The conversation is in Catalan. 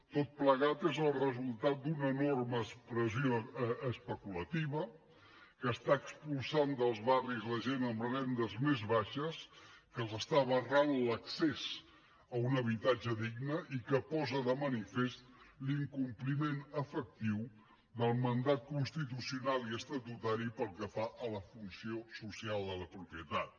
tot plegat és el resultat d’una enorme expressió especulativa que està expulsant dels barris la gent amb rendes més baixes que els està barrant l’accés a un habitatge digne i que posa de manifest l’incompliment efectiu del mandat constitucional i estatutari pel que fa a la funció social de la propietat